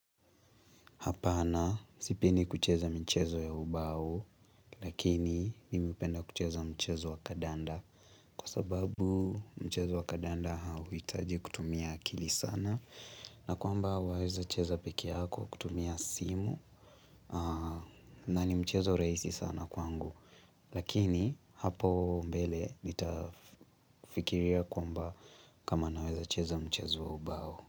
Hapana sipendi kucheza michezo ya ubao. Lakini mimi hupenda kucheza mchezo wa kandanda Kwa sababu mchezo wa kandanda hauhitaji kutumia akili sana na kwamba waweza cheza peke yako kutumia simu na ni mchezo rahisi sana kwangu Lakini hapo mbele nitafikiria kwamba kama naweza cheza mchezo wa ubao.